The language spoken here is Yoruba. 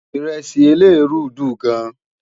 iresi eleruu dùn gán